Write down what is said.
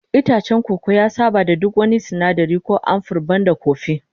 Itacen koko ya saba da duk wani sinadari ko samfur banda kofi